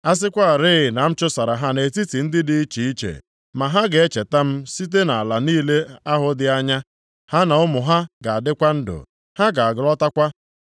A sịkwarị na m chụsara ha nʼetiti ndị dị iche iche, ma ha ga-echeta m site nʼala niile ahụ dị anya. Ha na ụmụ ha ga-adịkwa ndụ; ha ga-alọtakwa.